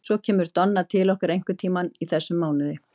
Svo kemur Donna til okkar einhvern tíman í þessum mánuði.